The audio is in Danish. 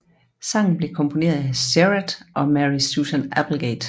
Sangen blev komponeret af Serhat og Mary Susan Applegate